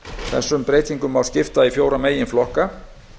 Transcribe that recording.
þessum breytingum má skipta í fjóra meginflokka